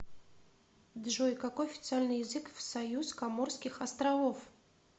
джой какой официальный язык в союз коморских островов